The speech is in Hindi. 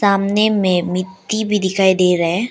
सामने में मिट्टी भी दिखाई दे रहा है।